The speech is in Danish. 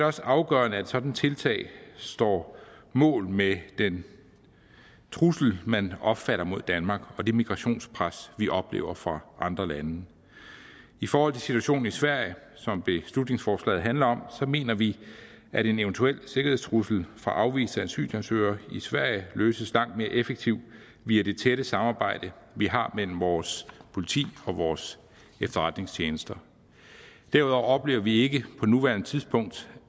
også afgørende at et sådant tiltag står mål med den trussel man opfatter mod danmark og det migrationspres vi oplever fra andre lande i forhold til situationen i sverige som beslutningsforslaget handler om mener vi at en eventuel sikkerhedstrussel fra afviste asylansøgere i sverige løses langt mere effektivt via det tætte samarbejde vi har mellem vores politi og vores efterretningstjenester derudover oplever vi ikke på nuværende tidspunkt